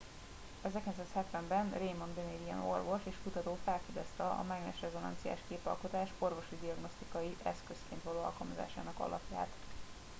1970 ben raymond damadian orvos és kutató felfedezte a mágnesrezonanciás képalkotás orvosi diagnosztikai eszközként való alkalmazásának alapját